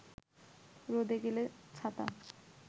রোদে গেলে ছাতা